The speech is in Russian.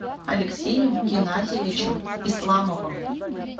алексеем геннадьевичем исламовым